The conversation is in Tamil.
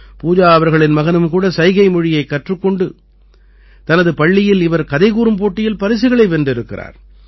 பூஜா அவர்களின் மகனும் கூட சைகைமொழியைக் கற்றுக் கொண்டு தனது பள்ளியில் இவர் கதைகூறும் போட்டியில் பரிசுகளை வென்றிருக்கிறார்